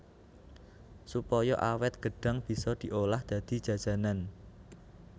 Supaya awét gêdhang bisa diolah dadi jajanan